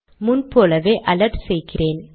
முன் போலவே அலர்ட் செய்கிறேன்